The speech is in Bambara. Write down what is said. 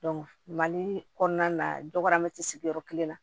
mali kɔnɔna na dɔgɔmɛ ti sigi yɔrɔ kelen na